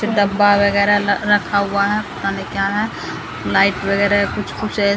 डब्बा वगैरह रखा हुआ है पता नहीं क्या है लाइट वगैरह कुछ-कुछ है।